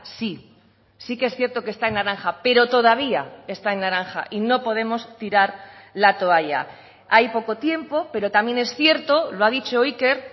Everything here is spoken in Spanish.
sí sí que es cierto que está en naranja pero todavía está en naranja y no podemos tirar la toalla hay poco tiempo pero también es cierto lo ha dicho iker